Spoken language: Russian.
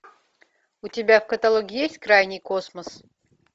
у тебя в каталоге есть крайний космос